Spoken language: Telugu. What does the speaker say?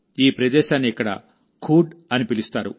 ఈ ప్రదేశాన్ని ఇక్కడ ఖూడ్ అని పిలుస్తారు